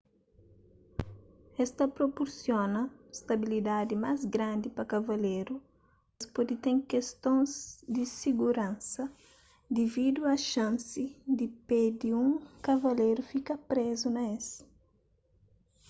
es ta propursiona stabilidadi más grandi pa kavaleru mas es pode ten kestons di siguransa dividu a xansi di pé di un kavaleru fika prezu na es